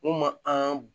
N'u ma an